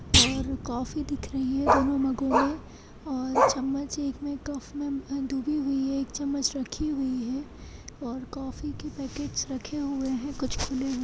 और कॉफ़ी दिख रही हैं दोनों मगों में और चम्मच एक कप में डूबी हुई हैं और एक चम्मच रखी हुई हैं और कॉफी के पैकेटस रखे हुए हैं कुछ खुले हुए--